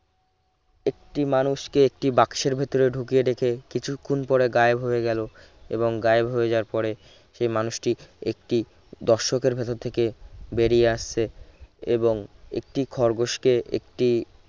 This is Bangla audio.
একটি মানুষকে একটি বাক্সের ভিতরে ঢুকিয়ে রেখে কিছুক্ষণ পরে গায়েব হয়ে গেল এবং গায়েব হয়ে যাওয়ার পরে সেই মানুষটির একটি দর্শকের ভেতর থেকে বেরিয়ে আসছে এবং একটি খরগোশ কে একটি